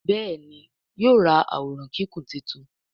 Béèni yóò rá Àwòrán Kíkún títún.